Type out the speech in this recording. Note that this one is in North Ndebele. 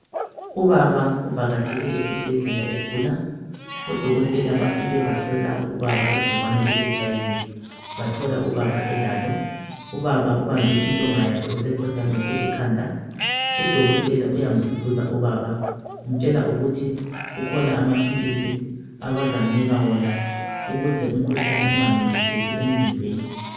Ubaba uvakatshele esibhedlela egula. Odokotela bafike bahlola ubaba ingcikwane le HIV, bathola ubaba elalo. Ubaba ubambe intonga yakhe usekhothamise ikhanda. Udokotela uyamduduza ubaba umtshela ukuthi kukhona amaphilisi abazamnika wona ukuze umkhuhlane ungamemetheki emzimbeni.